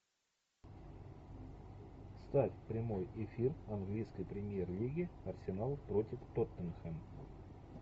ставь прямой эфир английской премьер лиги арсенал против тоттенхэм